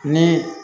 Ni